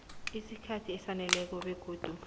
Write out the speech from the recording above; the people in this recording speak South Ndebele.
isikhathi esaneleko begodu